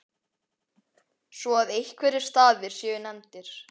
svo að einhverjir staðir séu nefndir.